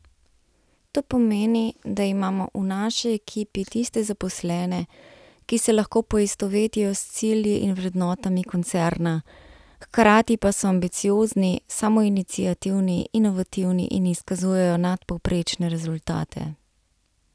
To pomeni, da imamo v naši ekipi tiste zaposlene, ki se lahko poistovetijo s cilji in vrednotami koncerna, hkrati pa so ambiciozni, samoiniciativni, inovativni in izkazujejo nadpovprečne rezultate.